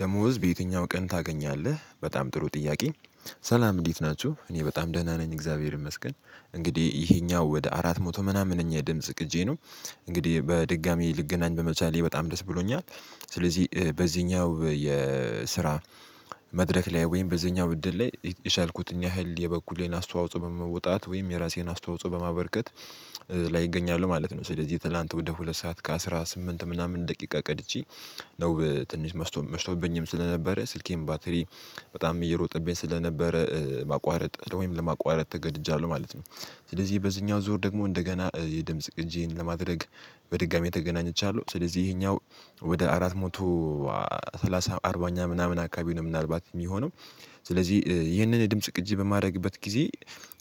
ደሞዝ በየትኛው ቀን ታገኛለህ በጣም ጥሩ ጥያቄኝ። ሰላም እንዴት ናችሁ እኔ በጣም ደህና ነኝ። እግዚአብሔር ይመስገን እንግዲህ ይሄኛው ወደ አራት መቶ ምናምንኛ የድምጽ ቅጄ ነው። እንግዲህ በድጋሚ ልገናኝ በመቻሌ በጣም ደስ ብሎኛል። ስለዚህ በዚህኛው የስራ መድረክ ላይ ወይም በዚህኛው ውድድር ላይ የቸልኩትን ያህል የበኩሌን አስተዋጽኦ በመውጣት ወይም የራሴን አስተዋጽኦ በማበርከት እገኛሉ ማለት ነው። ስለዚህ ትላንት ወደ ሁለት ሰዓት ከአስራ ስምንት ምናምን ደቂቃ ቀድቼ ነው ትንሽ መስቶ መሽቶብኝም ስለነበረ ስልኬም ባትሪ በጣም እየሮጠብኝ ስለነበረ ማቋረጥ ወይም ለማቋረጥ ተገድጃለሁ ማለት ነው። ስለዚህ በዚህኛው ዞር ደግሞ እንደገና የድምጽ ቅጂን ለማድረግ በድጋሚ ተገናኝቻለሁ። ስለዚህ ይሄኛው ወደ አራት ሞቶ ሰላሳ አርባኛ ምናምን አካባቢ ነው ምናልባት የሚሆነው። ስለዚህ ይህንን የድምጽ ቅጂ በማድረግበት ጊዜ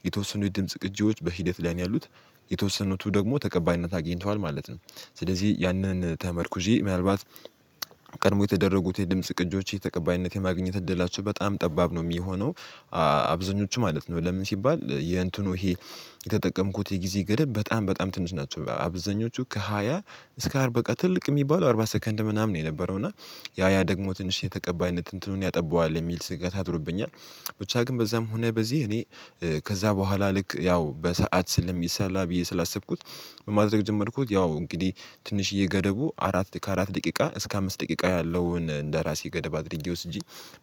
የተወሰኑ የድምጽ ቅጂዎች በሂደት ላይ ነው ያሉት የተወሰኑት ደግሞ ተቀባይነት አግኝተዋል ማለት ነው። ስለዚህ ያንን ተመርኩዜ ምናልባት ቀድሞ የተደረጉት የድምጽ ቅጆች ተቀባይነት የማግኘት እድላቸው በጣም ጠባብ ነው የሚሆነው። አብዛኞቹ ማለት ነው ለምን ሲባል የእንትኑ ይሄ የተጠቀምኩት የጊዜ ገደብ በጣም በጣም ትንሽ ናቸው አብዛኞቹ ከሃያ እስከ አርባ በቃ ትልቅ የሚባለው አርባ ሰከንድ ምናምን የነበረው እና ያ ያ ደግሞ ትንሽ የተቀባይነት እንትኑን ያጠባዋል የሚል ስጋት አድሮብኛል። ብቻ ግን በዛም ሆነ በዚህ እኔ ከዛ በኋላ ልክ ያው በሰአት ስለሚሰላ ብዬ ስላሰብኩት። ምን ማድረግ ጀመርኩት ያው እንግዲህ ትንሽዬ ገደቡ አራት ከአራት ደቂቃ እስከ አምስት ደቂቃ ያለውን እንደራሴ ገደብ አድርጌ ወስጄ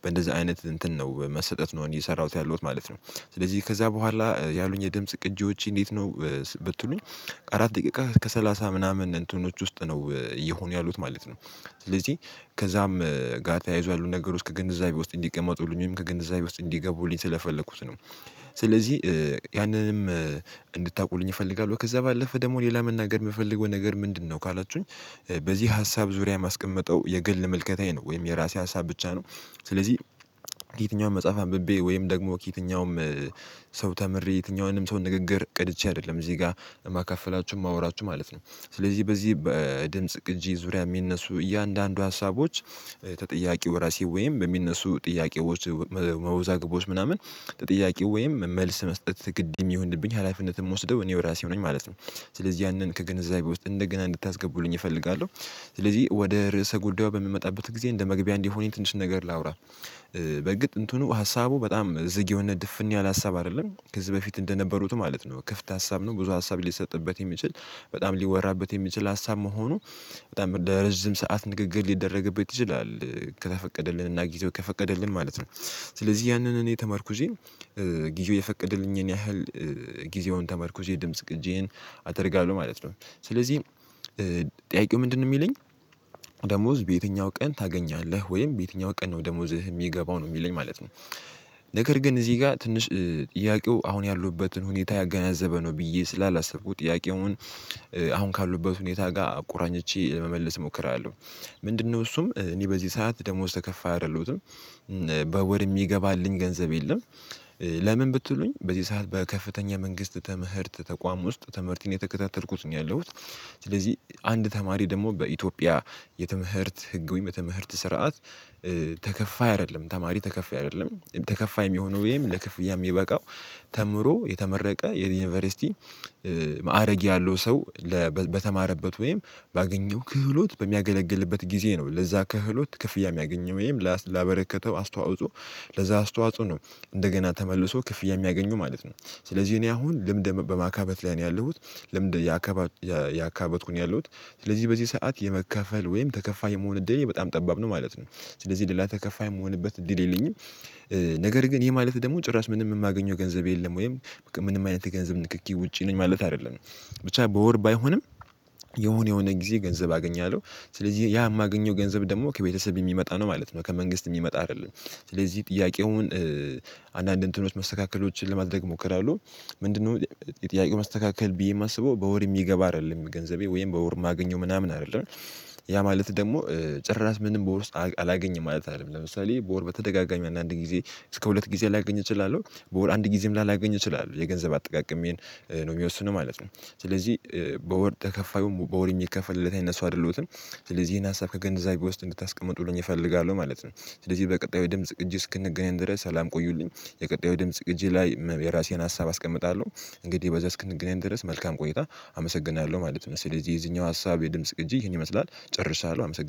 በእንደዚህ አይነት እንትን ነው በመሰጠት ነው እየሰራሁት ያለሁት ማለት ነው። ስለዚህ ከዛ በኋላ ያሉኝ የድምጽ ቅጂዎች እንዴት ነው ብትሉኝ አራት ደቂቃ ከሰላሳ ምናምን እንትኖች ውስጥ ነው እየሆኑ ያሉት ማለት ነው። ስለዚህ ከዛም ጋር ተያይዞ ያሉ ነገር ውስጥ ከግንዛቤ ውስጥ እንዲቀመጡልኝ ከግንዛቤ ውስጥ እንዲገቡልኝ ስለፈለኩት ነው። ስለዚህ ያንንም እንድታውቁልኝ እፈልጋለሁ። ከዛ ባለፈ ደግሞ ሌላ መናገር የምፈልገው ነገር ምንድነው ካላችሁኝ? በዚህ ሀሳብ ዙሪያ የማስቀመጠው የግል ምልከታዬ ነው ወይም የራሴ ሀሳብ ብቻ ነው። ስለዚህ ከየትኛውም መጽሐፍ አንብቤ ወይም ደግሞ ከየትኛውም ሰው ተምሬ የትኛውንም ሰው ንግግር ቀድቼ አይደለም እዚህ ጋር ማካፈላችሁ ማወራችሁ ማለት ነው። ስለዚህ በዚህ በድምጽ ቅጂ ዙሪያ የሚነሱ እያንዳንዱ ሀሳቦች ተጠያቂ እራሴ ወይም በሚነሱ ጥያቄዎች መወዛግቦች ምናምን ተጠያቅው ወይም መልስ መስጠት ግድ የሚሆንብኝ ሀላፊነትን የምወስደው እኔው ራሴ ነኝ ማለት ነው። ስለዚህ ያንን ከግንዛቤ ውስጥ እንደገና እንድታስገቡልኝ እፈልጋለሁ። ስለዚህ ወደ ርዕሰ ጉዳዩ በምመጣበት ጊዜ እንደ መግቢያ እንዲሆን ትንሽ ነገር ላውራ። በእርግጥ እንትኑ ሀሳቡ በጣም ዝግ የሆነ ድፍን ያለ ሀሳብ አይደለም ከዚህ በፊት እንደነበሩት ማለት ነው ክፍት ሀሳብ ነው ብዙ ሀሳብ ሊሰጥበት የሚችል በጣም ሊወራበት የሚችል ሀሳብ መሆኑ በጣም ለርዝም ሰዓት ንግግር ሊደረግበት ይችላል። ከተፈቀደልን እና ጊዜው ከፈቀደልን ማለት ነው። ስለዚህ ያንን እኔ ተመርኩዜ ጊዜ የፈቀደልኝን ያህል ጊዜውን ተመርኩሼ ድምጽ ግጄን አደርጋለሁ ማለት ነው። ስለዚህ ጥያቄው ምንድነው የሚለኝ? ደሞዝ በየትኛው ቀን ታገኛለህ ወይም በየትኛው ቀን ነው ደሞዝህ የሚገባው ነው የሚለኝ ማለት ነው። ነገር ግን እዚህ ጋር ትንሽ ጥያቄው አሁን ያለሁበትን ሁኔታ ያገናዘበ ነው ብዬ ስላላሰብኩ ጥያቄውን አሁን ካለሁበት ሁኔታ ጋር አ ቆራኝቼ ለመመለስ እሞክራለሁ። ምንድነው እሱም እኔ በዚህ ሰዓት ደሞዝ ተከፋይ አይደለሁትም። በወር የሚገባልኝ ገንዘብ የለም። ለምን ብትሉኝ በዚህ ሰዓት በከፍተኛ የመንግስት ትምህርት ተቋም ውስጥ ትምህርቴን እየተከታተልኩት ነው ያለሁት። ስለዚህ አንድ ተማሪ ደግሞ በኢትዮጵያ የትምህርት ህግ ወይም የትምህርት ስርዓት ተከፋይ አይደለም ተማሪ ተከፋይ አይደለም። ተከፋይ የሚሆነው ወይም ለክፍያ የሚበቃው ተምሮ የተመረቀ የዩኒቨርሲቲ ማዕረግ ያለው ሰው። በተማረበት ወይም ባገኘው ክህሎት በሚያገለግልበት ጊዜ ነው ለዛ ክህሎት ክፍያ የሚያገኘው ወይም ላበረከተው አስተዋጽኦ ለዛ አስተዋጽኦ ነው። እንደገና ተመልሶ ክፍያ የሚያገኙ ማለት ነው። ስለዚህ እኔ አሁን ልምድ በማካበት ላይ ነው ያለሁት። ልምድ እያካበትኩ ያለሁት ስለዚህ በዚህ ሰዓት የመከፈል ወይም ተከፋይ የመሆን እድሌ በጣም ጠባብ ነው ማለት ነው። ስለዚህ ሌላ ተከፋይ የምሆንበት እድል የለኝም። ነገር ግን ይሄ ማለት ደግሞ ጭራሽ ምንም የማገኘው ገንዘብ የለም ወይም ምንም አይነት የገንዘብ ንክኪ ውጪ ነኝ ማለት አይደለም። ብቻ በወር ባይሆንም የሆነ የሆነ ጊዜ ገንዘብ አገኛለሁ። ስለዚህ ያ የማገኘው ገንዘብ ደግሞ ከቤተሰብ የሚመጣ ነው ማለት ነው ከመንግስት የሚመጣ አይደለም። ስለዚህ ጥያቄውን አንዳንድ እንትኖች መስተካከሎችን ለማድረግ ሞክራለሁ። ምንድነው? የጥያቄው መስተካከል ብዬ የማስበው በወር የሚገባ አይደለም ገንዘቤ ወይም በወር የማገኘው ምናምን አይደለም። ያ ማለት ደግሞ ጭራሽ ምንም በወር ውስጥ አላገኝም ማለት አይደለም ለምሳሌ በወር በተደጋጋሚው አንዳንድ ጊዜ እስከ ሁለት ጊዜ ላገኝ እችላለሁ በወር አንድ ጊዜም ላላገኝ እችላለሁ የገንዘብ አጠቃቀሜን ነው የሚወስነው ማለት ነው። ስለዚህ በወር ተከፋዩም በወር የሚከፈልለት አይነት ሰው አይደለሁትም። ስለዚህ ይሄን ሀሳብ ከገንዘቤ ውስጥ እንድታስቀምጡልኝ እፈልጋለሁ ማለት ነው። ስለዚህ በቀጣዩ የድምጽ እጅ እስክንገናኝ ድረስ ሰላም ቆዩልኝ። የቀጣዩ ድምጽ ግጂ ላይ የራሴን ሀሳብ አስቀምጣለሁ። እንግዲህ በዛ እስክንግናኝ ድረስ መልካም ቆይታ አመሰግናለሁ ማለት ነው። ስለዚህ የዚህኛው ሀሳብ የድምጽ ግጂ ይሄን ይመስላል ጨርሳለሁ አመሰግናለሁ